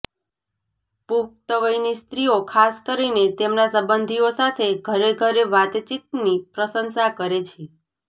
પુખ્ત વયની સ્ત્રીઓ ખાસ કરીને તેમના સંબંધીઓ સાથે ઘરે ઘરે વાતચીતની પ્રશંસા કરે છે